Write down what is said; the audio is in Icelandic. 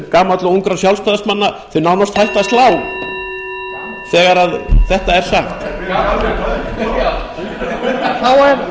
gamalla og ungra sjálfstæðismanna séu nánast hætt að slá þegar þetta er sagt